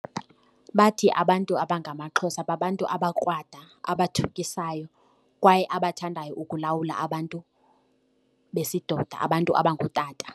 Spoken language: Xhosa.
Bathi abantu abangamaXhosa ngabantu abakrwada, abathukisayo kwaye abathandayo ukulawula abantu besidoda abantu abangootata.